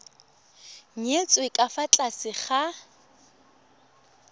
nyetswe ka fa tlase ga